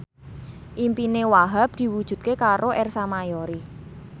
impine Wahhab diwujudke karo Ersa Mayori